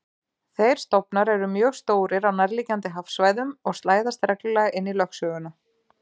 Þeir stofnar eru mjög stórir á nærliggjandi hafsvæðum og slæðast reglulega inn í lögsöguna.